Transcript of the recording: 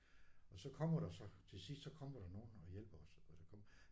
Og så kommer der så til sidst så kommer der nogen og hjælper os og det kom